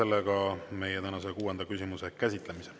Lõpetame meie tänase kuuenda küsimuse käsitlemise.